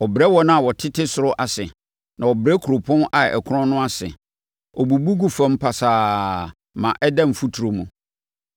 Ɔbrɛ wɔn a wɔtete soro ase, na ɔbrɛ kuropɔn a ɛkorɔn no ase; ɔbubu gu fam pasaa ma ɛda mfuturo mu.